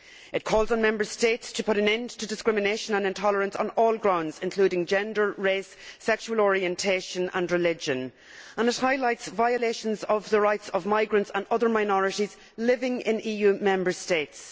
It calls on Member States to put an end to discrimination and intolerance on all grounds, including gender, race, sexual orientation and religion, and it highlights violations of the rights of migrants and other minorities living in EU Member States.